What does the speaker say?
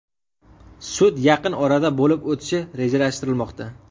Sud yaqin orada bo‘lib o‘tishi rejalashtirilmoqda.